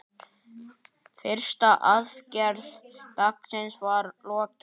Fyrstu aðgerð dagsins var lokið.